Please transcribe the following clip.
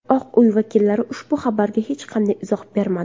Oq uy vakillari ushbu xabarga hech qanday izoh bermadi.